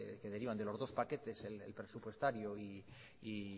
que derivan de los paquetes el presupuestario y